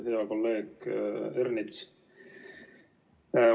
Hea kolleeg Ernits!